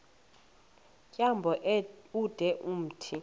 tyambo ude umthi